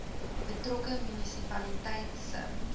betrokke munisipaliteit se